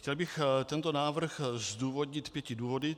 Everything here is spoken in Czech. Chtěl bych tento návrh zdůvodnit pěti důvody.